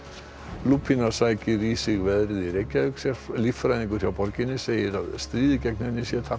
lúpína sækir í sig veðrið í Reykjavík líffræðingur hjá borginni segir stríðið gegn henni tapað